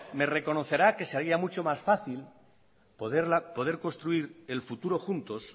me reconocerá que se haría mucho más fácil poder construir el futuro juntos